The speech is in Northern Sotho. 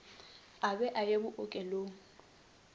a be a ye bookelong